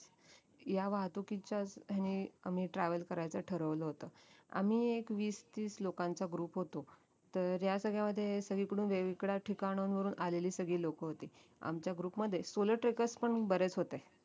ह्या वाहतुकीच्या ह्याने आम्ही travel करायचं ठरवलं होत आम्ही एक वीस तीस लोकांचा group होतो तर ह्या सगळ्यामध्ये सगळीकडून वेगवेगळ्या ठिकाणांन वरून आलेली सगळी लोक होती आमच्या group मध्ये solo trackers पण बरेच होते